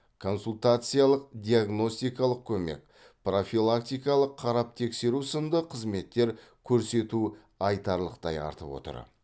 консультациялық диагностикалық көмек профилактикалық қарап тексеру сынды қызметтер көрсету айтарлықтай артып отыр